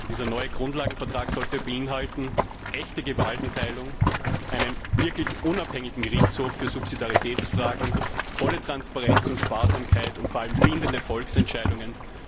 Dieser neue Grundlagenvertrag sollte beinhalten echte Gewaltenteilung, einen wirklich unabhängigen Gerichtshof für Subsidiaritätsfragen, volle Transparenz und Sparsamkeit und vor allem bindende Volksentscheidungen.